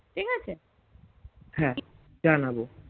হ্যাঁ জানাবো